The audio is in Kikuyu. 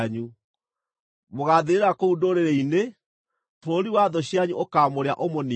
Mũgaathirĩra kũu ndũrĩrĩ-inĩ; bũrũri wa thũ cianyu ũkaamũrĩa ũmũniine.